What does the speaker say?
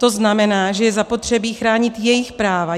To znamená, že je zapotřebí chránit jejich práva.